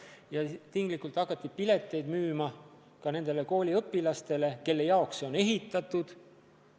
Ja siis hakati pileteid müüma ka nendele kooliõpilastele, kelle jaoks see sai ehitatud.